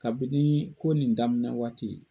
Kabini ko nin daminɛ waati.